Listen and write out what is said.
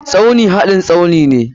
Tsauni hadin Tsaunine.